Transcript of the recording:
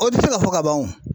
O tɛ se ka fɔ ka ban o .